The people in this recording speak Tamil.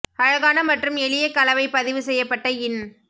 அழகான மற்றும் எளிய கலவை பதிவு செய்யப்பட்ட இன்